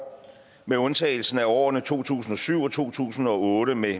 med undtagelse af årene to tusind og syv og to tusind og otte med